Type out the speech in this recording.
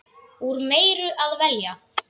Úr meiru að velja!